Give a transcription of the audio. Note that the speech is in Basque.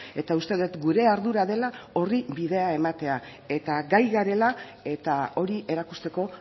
eta uste dut gure ardura dela horri bidea ematea eta gai garela eta hori erakusteko